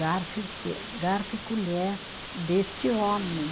Garfo e e, garfo e colher deste homem.